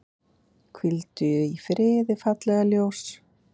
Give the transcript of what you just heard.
Hvíldu í friði, fallega ljós.